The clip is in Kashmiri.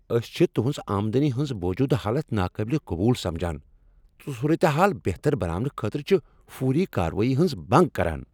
أسۍ چھ تہنٛز آمدنی ہنٛز موجودٕ حالت ناقابلہِ قبول سمجھان تہٕ صورت حال بہتر بناونہٕ خٲطرٕ چھ فوری کاروٲیی ہنٛز منٛگ کران۔